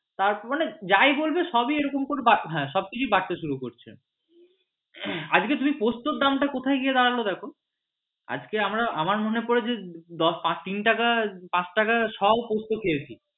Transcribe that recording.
তারপর মানে যাই বলবে সবই এরকম করে বাড়তে শুরু করছে আজকে তুমি পোস্তর দাম টা কোথায় গিয়ে দাঁড়িয়েছে দেখো আজকে আমার মনে পড়ে যে তিন টাকার পাঁচ টাকার শোও পোস্ত খেয়েছি